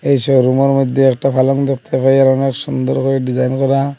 এই শোরুমের মধ্যে একটা পালং দেখতে পাই আর অনেক সুন্দর করে ডিজাইন করা।